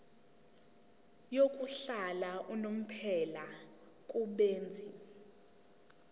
yokuhlala unomphela kubenzi